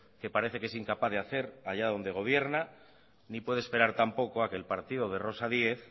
que parece que es incapaz de hacer allí donde gobierna ni puede esperar tampoco a que el partido de rosa díez